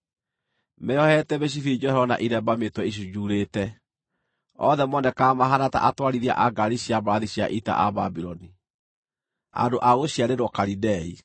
meeohete mĩcibi njohero na iremba mĩtwe icunjuurĩte; othe monekaga mahaana ta atwarithia a ngaari cia mbarathi cia ita a Babuloni, andũ a gũciarĩrwo Kalidei.